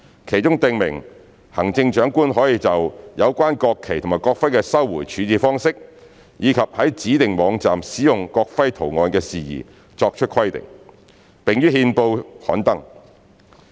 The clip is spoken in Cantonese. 其中訂明行政長官可就有關國旗及國徽的收回處置方式，以及在指定網站使用國徽圖案的事宜作出規定，並於憲報刊登。